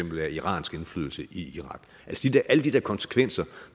af iransk indflydelse i irak alle de der konsekvenser